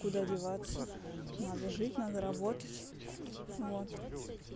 куда деваться надо жить надо работать вот